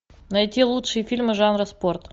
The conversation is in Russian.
найти лучшие фильмы жанра спорт